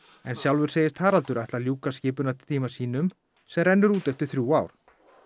en sjálfur segist Haraldur ætla að ljúka skipunartíma sínum sem rennur út eftir þrjú ár